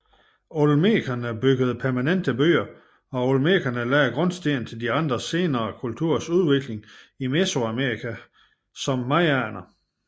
Olmekerne byggede permanente byer og olmekerne lagde grundstenen til de andre senere kulturers udvikling i Mesoamerika som mayaerne